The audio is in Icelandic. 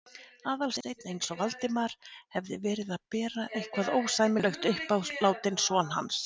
Aðalsteinn eins og Valdimar hefði verið að bera eitthvað ósæmilegt upp á látinn son hans.